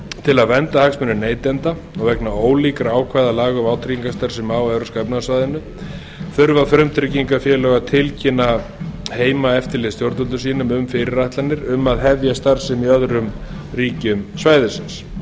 til að vernda hagsmuni neytanda og vegna ólíkra ákvæða laga um vátryggingarsamninga á evrópska efnahagssvæðinu þurfa frumtryggingafélög að tilkynna heimaeftirlitsstjórnvöldum sínum um fyrirætlanir um að hefja starfsemi í öðrum ríkjum svæðisins